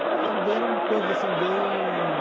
Eu me lembro bem, eram coisas assim bem...